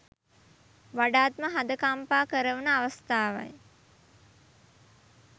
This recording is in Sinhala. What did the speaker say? වඩාත්ම හද කම්පා කරවන අවස්ථාවයි